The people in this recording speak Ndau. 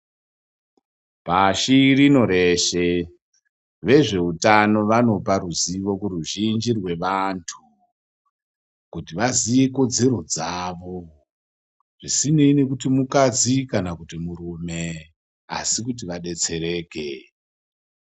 Pashi rino reshe vezveutano vanopa ruzivo kuruzhinji rwevantu, kuti vaziye ikodzero dzavo zvisinei nekuti mukadzi kana kuti murume asi kuti vadetsereke.